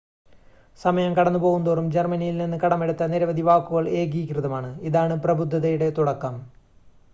സമയം കടന്നുപോകുന്തോറും ജർമ്മനിൽ നിന്ന് കടമെടുത്ത നിരവധി വാക്കുകൾ ഏകീകൃതമാണ് ഇതാണ് പ്രബുദ്ധതയുടെ തുടക്കം